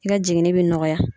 I ka jiginni bi nɔgɔya